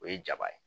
O ye jaba ye